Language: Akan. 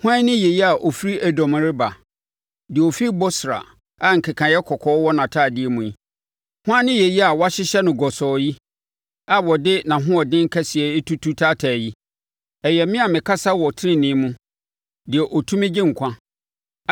Hwan ni yei a ɔfiri Edom reba, deɛ ɔfiri Bosra a nkekaeɛ kɔkɔɔ wɔ nʼatadeɛ mu yi? Hwan ne yei a wɔahyehyɛ no gɔsɔɔ yi, a ɔde nʼahoɔden kɛseɛ retutu taataa yi? “Ɛyɛ me a mekasa wɔ tenenee mu deɛ ɔtumi gye nkwa.”